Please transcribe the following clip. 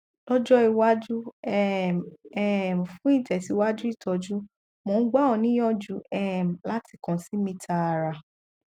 lọjọ iwájú um um fún ìtẹsíwájú ìtọjú mò ń gbà ọ níyànjú um láti kàn sí mi tààrà